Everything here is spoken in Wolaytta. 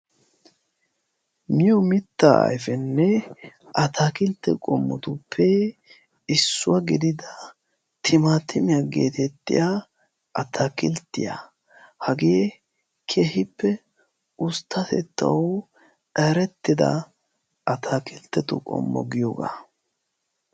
Miyo mitta ayfenne ataakiltte qommotuppe issuwaa gidida timaatimiyaa geetettiya ataakilttiyaa hagee kehippe usttatettau arettida ataakilttetu qommo giyoogaa.